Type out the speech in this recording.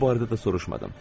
Bu barədə də soruşmadım.